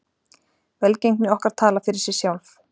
Velgengni okkar talar fyrir sig sjálf.